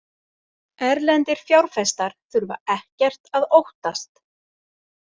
Erlendir fjárfestar þurfa ekkert að óttast